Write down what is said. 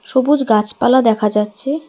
সবুজ গাছপালা দেখা যাচ্ছে।